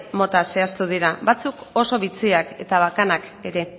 mota zehaztu dira batzuk oso bitxiak eta bakanak ere